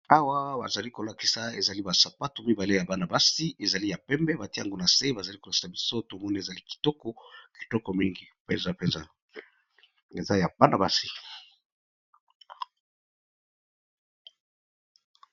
Awa bazali lakisa eza ba sapatu ya Bana basi ya kangi ya pembe Ezra Kitoko mini Ezra ya baba basi